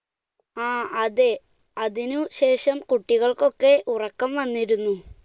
ങ്ഹാ, അതെ, അതിനുശേഷം കുട്ടികൾക്ക് ഒക്കെ ഉറക്കം വന്നിരുന്നു.